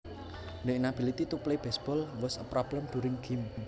The inability to play baseball was a problem during gym